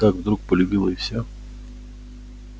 вот так вдруг полюбила и всё